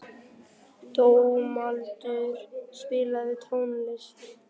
Dómaldur, spilaðu tónlist.